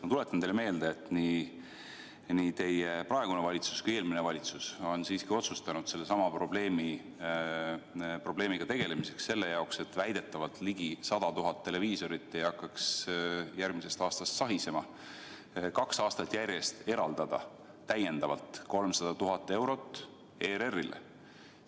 Ma tuletan teile meelde, et nii teie praegune valitsus kui ka eelmine valitsus on otsustanud sellesama probleemiga tegelemiseks, selleks, et väidetavalt ligi 100 000 televiisorit ei hakkaks järgmisest aastast lihtsalt sahisema, kaks aastat järjest eraldada täiendavalt 300 000 eurot ERR‑ile.